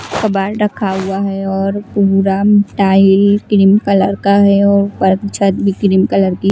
कबाड़ रखा हुआ है और पूरा म्म टाईल क्रीम कलर का है और ऊपर छत भी क्रीम कलर की --